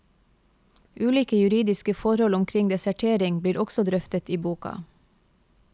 Ulike juridiske forhold omkring desertering blir også drøftet i boka.